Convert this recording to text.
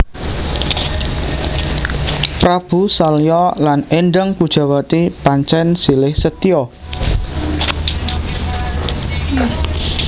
Prabu Salya lan Endang Pujawati pancèn silih setya